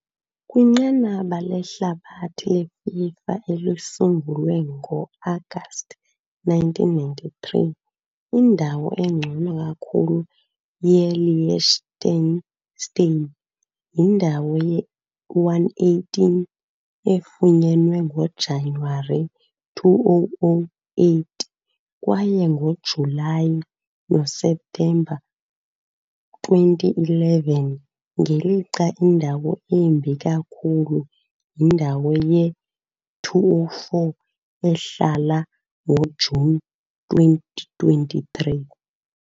Kwinqanaba lehlabathi leFIFA, elisungulwe ngo-Agasti 1993, indawo engcono kakhulu ye-Liechtenstein yindawo ye-118, efunyenwe ngoJanuwari 2008 kwaye ngoJulayi noSeptemba 2011, ngelixa indawo embi kakhulu yindawo ye-204, ehlala ngoJuni 2023 .